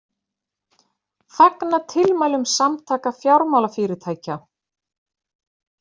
Fagna tilmælum Samtaka fjármálafyrirtækja